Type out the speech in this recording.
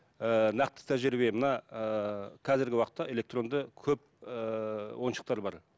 ііі нақты тәжірибе мына ііі қазіргі уақытта электронды көп ііі ойыншықтар бар